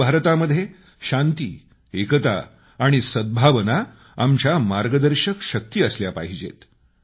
नव भारतामध्ये शांती एकता आणि सद्भावना आमच्या मार्गदर्शक शक्ती असल्या पाहिजेत